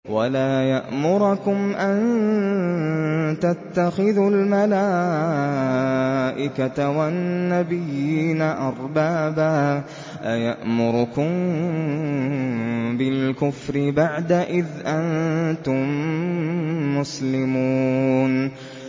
وَلَا يَأْمُرَكُمْ أَن تَتَّخِذُوا الْمَلَائِكَةَ وَالنَّبِيِّينَ أَرْبَابًا ۗ أَيَأْمُرُكُم بِالْكُفْرِ بَعْدَ إِذْ أَنتُم مُّسْلِمُونَ